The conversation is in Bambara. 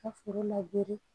Ka foro labɛn